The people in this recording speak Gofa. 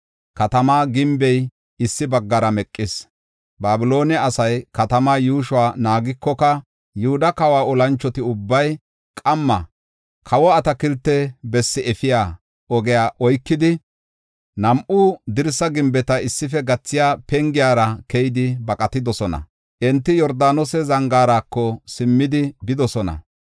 Katama gimbey issi baggara meqis. Babiloone asay katamaa yuushuwa naagikoka, Yihuda kawa olanchoti ubbay qamma kawo atakilte bessaa efiya ogiya oykidi, nam7u dirsaa gimbeta issife gathiya pengiyara keyidi baqatidosona. Enti Yordaanose zangaarako simmidi bidosona.